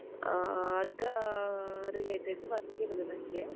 ಆಹ್ ಅದ್ರ ah related work ಇರುದು ನಂಗೆ.